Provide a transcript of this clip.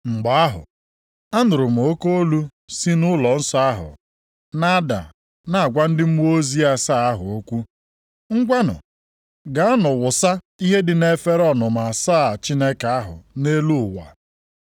Mgbe ahụ, anụrụ m oke olu si nʼụlọnsọ ahụ na-ada na-agwa ndị mmụọ ozi asaa ahụ okwu, “Ngwanụ, gaanụ wụsa ihe dị nʼefere ọnụma asaa Chineke ahụ nʼelu ụwa.”